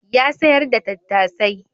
Ya sayar da tattasai.